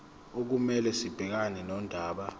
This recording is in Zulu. okumele sibhekane nodaba